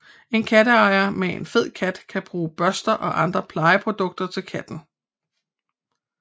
En katteejer med en fed kat kan bruge børster og andre plejeprodukter til katten